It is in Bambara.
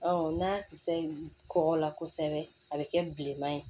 n'a kisɛ ye kɔgɔ la kosɛbɛ a bɛ kɛ bilenma ye